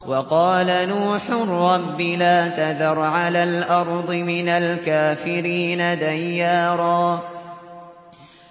وَقَالَ نُوحٌ رَّبِّ لَا تَذَرْ عَلَى الْأَرْضِ مِنَ الْكَافِرِينَ دَيَّارًا